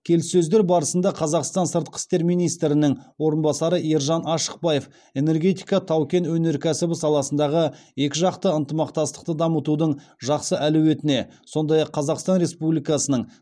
келіссөздер барысында қазақстан сыртқы істер министрінің орынбасары ержан ашықбаев энергетика тау кен өнеркәсібі саласындағы екіжақты ынтымақтастықты дамытудың жақсы әлеуетіне сондай ақ қазақстан республикасының